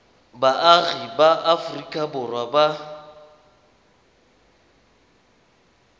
baagi ba aforika borwa ba